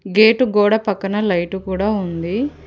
Gate గోడ పక్కన light కూడా ఉంది.